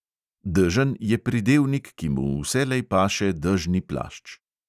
Dežen je pridevnik, ki mu vselej paše dežni plašč.